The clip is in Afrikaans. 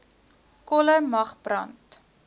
kolle mag brand